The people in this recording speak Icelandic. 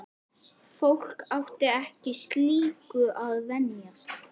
Fólk átti ekki slíku að venjast.